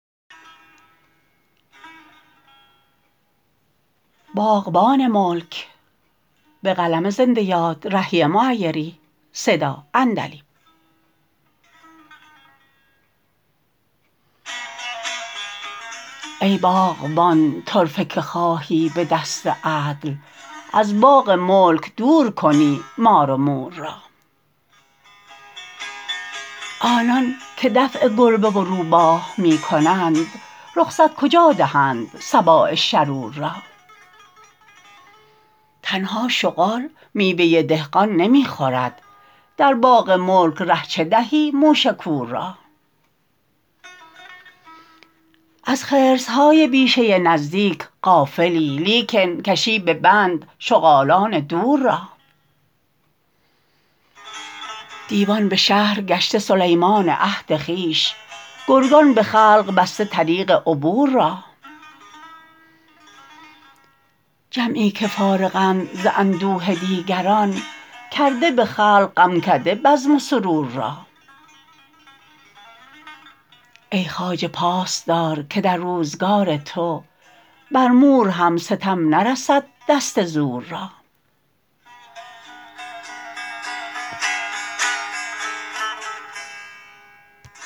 ای باغبان طرفه که خواهی به دست عدل از باغ ملک دور کنی مار و مور را آنان که دفع گربه و روباه می کنند رخصت کجا دهند سباع شرور را تنها شغال میوه دهقان نمی خورد در باغ ملک ره چه دهی موش کور را از خرس های بیشه نزدیک غافلی لیکن کشی به بند شغالان دور را دیوان به شهر گشته سلیمان عهد خویش گرگان به خلق بسته طریق عبور را جمعی که فارغند ز اندوه دیگران کرده به خلق غمکده بزم و سرور را ای خواجه پاس دار که در روزگار تو بر مور هم ستم نرسد دست زور را